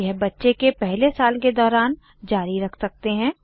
यह बच्चे के पहले साल के दौरान जारी रख सकते हैं